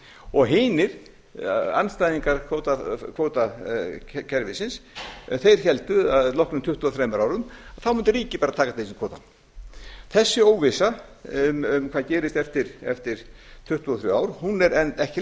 og hinir andstæðingar kvótakerfisins héldu að loknum tuttugu og þremur árum þá mundi ríkið bara taka til sín kvótann þessi óvissa um hvað gerist eftir tuttugu og þrjú ár er enn ekki